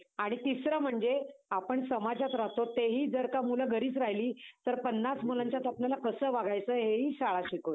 आणि तिसरं म्हणजे आपण समाजात राहतो. तेही जर का मुलं घरीच राहिली तर पन्नास मुलांच्यात आपल्याला कसं वागायचं हे हि शाळा शिकवते.